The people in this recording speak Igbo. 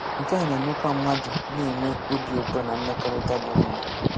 Nke a na-emekwa mmadụ na-enwe obi ụtọ na mmekọrịta dị mma.